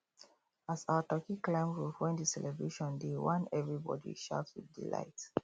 as our turkey climb roof when the celebration dey oneverybody shout with delight